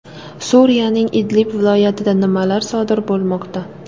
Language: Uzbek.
Suriyaning Idlib viloyatida nimalar sodir bo‘lmoqda?.